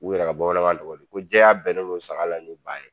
U yɛrɛ ka bamanankan tɔgɔ ye di? ko jɛya bɛnnen don aga la ni ba ye!